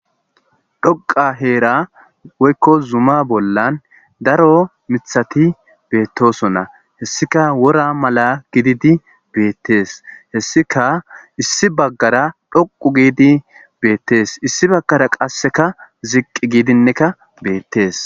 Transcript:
Dhoqqa heera woykko zuma bollan daro miththati beettosona. Hessikka wora mala gididi beettes. Hessika issi baggara dhoqqu giidi beettes. Issi bagara qasseka ziqqi giidinneka beettes.